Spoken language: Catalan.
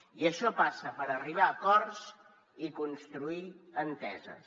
i això passa per arribar a acords i construir enteses